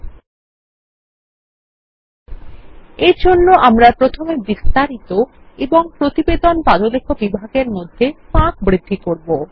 ল্টপাউসেগ্ট এর জন্য আমরা প্রথমে বিস্তারিত এবংপ্রতিবেদন পাদলেখ বিভাগের মধ্যে ফাঁক বৃদ্ধি করব